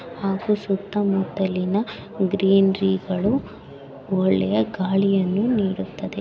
ಹಾಗು ಸುತ್ತಮುತ್ತಲಿನ ಗ್ರೀನಿರಿಗಳು ಒಳ್ಳೆಯ ಗಾಳಿಯನ್ನು ನೀಡುತ್ತದೆ.